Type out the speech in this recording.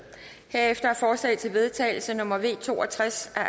herefter er forslag til vedtagelse nummer v to og tres af